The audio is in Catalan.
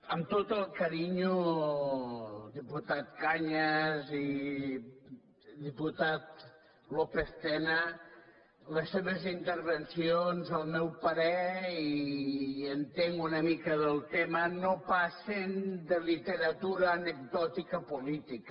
amb tot el carinyo diputat cañas i diputat lópez tena les seves intervencions al meu parer i entenc una mica del tema no passen de literatura anecdòtica política